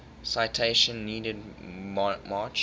citation needed march